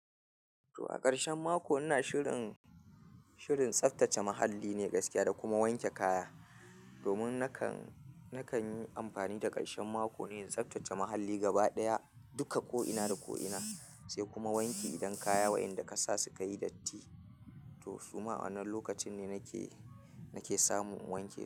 To, a ƙarshen mako ina shirin, shirin tsaftace muhalli ne gaskiya da kuma wanke kaya. Domin nakan, nakan yi amfani da ƙarshen mako ne in tsaftace muhalli gaba ɗaya duka ko'ina da ko'ina, sai kuma wanki idan kaya waɗanda ka sa su ka yi datti. To su ma a wannan lokacin nake nake samu na wanke.